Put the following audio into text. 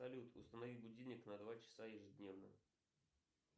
салют установи будильник на два часа ежедневно